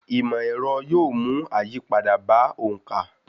Ìmọ̀ ẹrọ yóò mú àyípadà bá òǹkà.